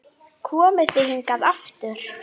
Komið þið hingað aftur!